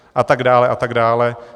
A tak dále a tak dále.